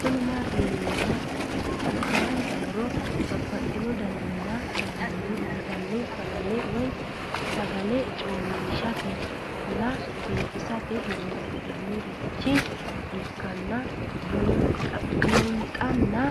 Kuni mati yinumoha ikiro hanja muroni babaxino daninina ragini intani sagale woyi sagali comishatenna bifisate horonsine'morich ikinota bunxana